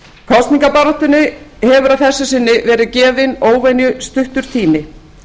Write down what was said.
kosningabaráttunni hefur að þessu sinni verið gefinn óvenju stuttur tími